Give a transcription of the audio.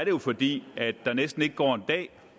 jo fordi der næsten ikke går en dag